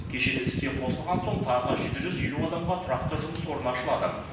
кешен іске қосылған соң тағы жеті жүз елу адамға тұрақты жұмыс орны ашылады